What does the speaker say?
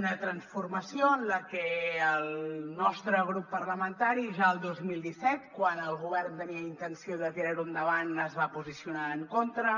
una transformació en la que el nostre grup parlamentari ja el dos mil disset quan el govern tenia intenció de tirarho endavant es va posicionar en contra